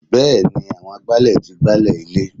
Bẹẹni àwọn agbálẹ̀ tí gbálẹ̀ ilé.